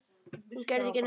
Hún gerði ekki neitt.